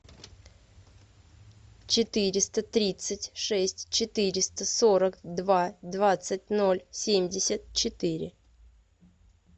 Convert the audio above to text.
четыреста тридцать шесть четыреста сорок два двадцать ноль семьдесят четыре